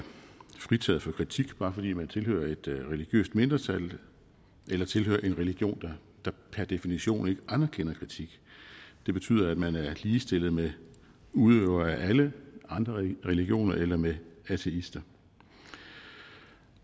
fritaget for kritik bare fordi man tilhører et religiøst mindretal eller tilhører en religion der per definition ikke anerkender kritik det betyder at man er ligestillet med udøvere af alle andre religioner eller med ateister